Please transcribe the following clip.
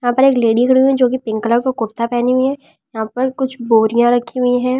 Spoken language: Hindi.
यहां पर एक लेडी खड़ी हुई है जो कि पिंक कलर का कुर्ता पहनी हुई है यहां पर कुछ बोरियां रखी हुई हैं।